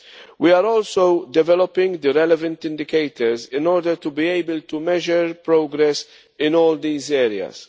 We are also developing the relevant indicators in order to be able to measure progress in all these areas.